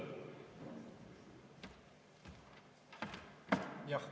Jah.